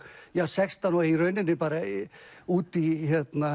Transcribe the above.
sextán og í rauninni út í